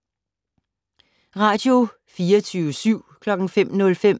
Radio24syv